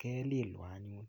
kelilwan anyun.